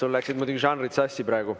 Sul läksid muidugi žanrid sassi praegu.